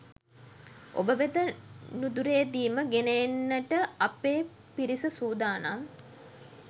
ඔබ වෙත නුදුරේදීම ගෙන එන්නට අපේ පිරිස සූදානම්.